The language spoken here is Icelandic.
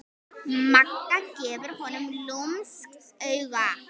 Magga gefur honum lúmskt auga.